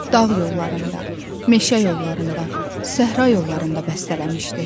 Dağ yollarında, meşə yollarında, səhra yollarında bəstələmişdi.